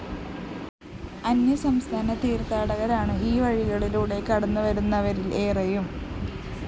അന്യസംസ്ഥാന തീര്‍ത്ഥാടകരാണ് ഈവഴികളിലൂടെ കടന്നുവരുന്നവരില്‍ ഏറെയും